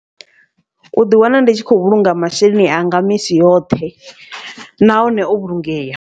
Uḓi wana ndi tshi khou vhulunga masheleni anga misi yoṱhe nahone o vhulungeya.